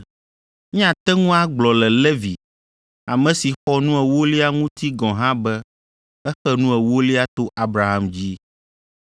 Míate ŋu agblɔ le Levi, ame si xɔ nu ewolia ŋuti gɔ̃ hã be exe nu ewolia to Abraham dzi,